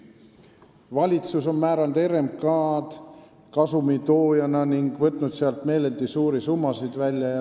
Valitsus on näinud RMK-d kasumi tootjana ning võtnud sealt meeleldi suuri summasid välja.